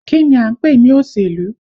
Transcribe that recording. Kí ni à ń pè ní òṣèlú?